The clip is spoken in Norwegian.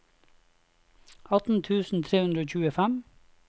atten tusen tre hundre og tjuefem